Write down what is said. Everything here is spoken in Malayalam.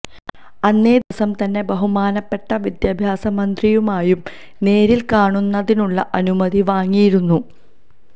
അന്നേ ദിവസം തന്നെ ബഹുമാനപ്പെട്ട വിദ്യാഭ്യാസ മന്ത്രിയുമായും നേരില് കാണുന്നതിനുള്ള അനുമതി വാങ്ങിയിരുന്നു